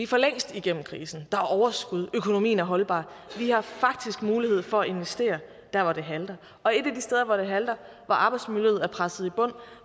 for længst igennem krisen er overskud økonomien er holdbar vi har faktisk mulighed for at investere der hvor det halter og et af de steder hvor det halter hvor arbejdsmiljøet er presset i bund